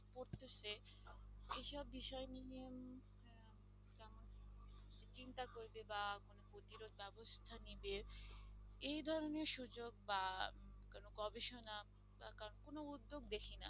বা প্রতিরোধ ব্যবস্থা নেবে এই ধরণের সুযোগ বা কোনো গবেষণা বা কারো কোনো উদ্যোগ দেখি না।